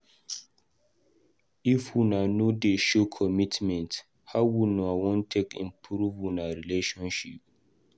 If una no dey show commitment, how una wan take improve una relationship?